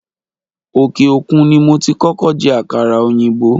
òkè òkun ni mo ti kókó je àkàrà òyìnbó